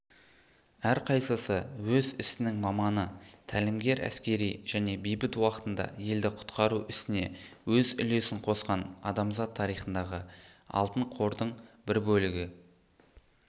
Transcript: әрқайсысы өз ісінің маманы тәлімгер әскери және бейбіт уақытында елді құтқару ісіне өз үлесін қосқан адамзат тарихындағы алтын қордың бір бөлігі